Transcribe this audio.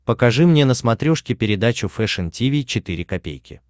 покажи мне на смотрешке передачу фэшн ти ви четыре ка